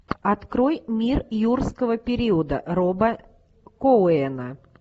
открой мир юрского периода роба коэна